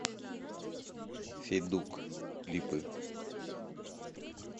федук клипы